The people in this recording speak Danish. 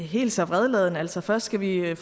helt så vredladen altså først skal vi have